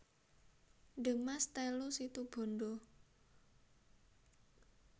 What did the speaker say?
De Maas telu Situbondo